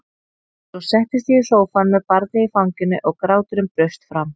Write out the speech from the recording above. Svo settist ég í sófann með barnið í fanginu og gráturinn braust fram.